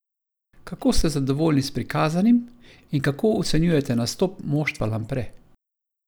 Kako ste zadovoljni s prikazanim in kako ocenjujete nastop moštva Lampre?